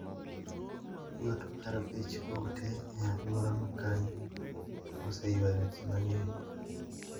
Yot mar bech ute e alwora makanyo oseywayo ji mang`eny.